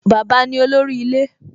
Bàbá ni olórí ilé